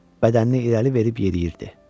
Bədənini irəli verib yeriyirdi.